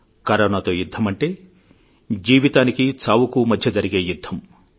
కరోనాతో యుద్ధమంటే జీవితానికి చావుకు మధ్య జరిగే యుద్ధం